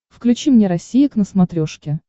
включи мне россия к на смотрешке